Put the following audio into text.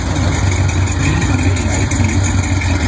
এখানে নীল রঙের লাইট দিয়ে